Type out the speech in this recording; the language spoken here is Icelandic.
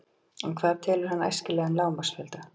En hvað telur hann æskilegan lágmarksfjölda?